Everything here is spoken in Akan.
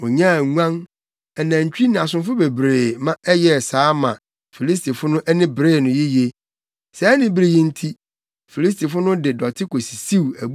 Onyaa nguan, anantwi, ne asomfo bebree ma ɛyɛɛ saa ma Filistifo no ani beree no yiye. Saa anibere yi nti, Filistifo no de dɔte kosisiw